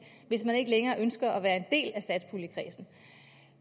hvis man ikke længere ønsker at være en del af satspuljekredsen